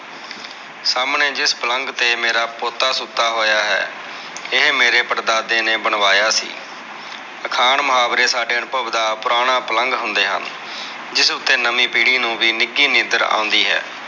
ਸਾਮਣੇ ਜਿਸ ਪਲੰਗ ਤੇ ਮੇਰਾ ਪੋਤਾ ਸੁੱਤਾ ਹੋਇਆ ਹੈ, ਇਹ ਮੇਰੇ ਪੜਦਾਦੇ ਨੇ ਬਣਵਾਇਆ ਸੀ ਅਖਾਣ, ਮੁਹਾਵਰੇ ਸਾਡੇ ਅਨੁਭਵ ਦਾ ਪੁਰਾਣਾ ਪਲੰਗ ਹੁੰਦੇ ਹਨ, ਜਿਸ ਉੱਤੇ ਨਵੀ ਪੀੜੀ ਨੂੰ ਵੀ ਨਿੱਗੀ ਨੀਂਦਰ ਆਉਂਦੀ ਹੈ।